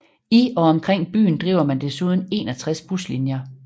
I og omkring byen driver man desuden 61 buslinjer